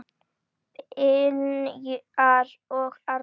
Brynjar og Anna.